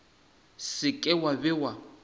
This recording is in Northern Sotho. se ke wa be wa